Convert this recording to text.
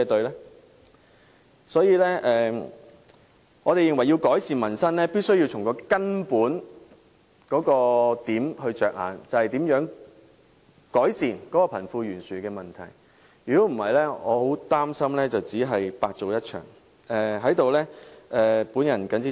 因此，我們認為改善民生必須從根本着眼，想想如何改善貧富懸殊的問題，否則我擔心一切也會徒勞無功。